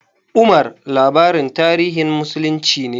"Omar" labarin tarihin muslunci ne.